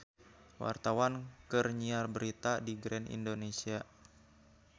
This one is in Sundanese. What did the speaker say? Wartawan keur nyiar berita di Grand Indonesia